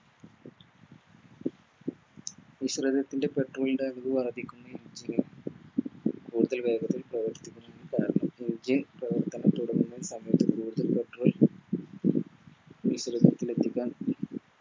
ൻറെ Petrol ൻറെ അളവ് വർദ്ധിക്കുന്ന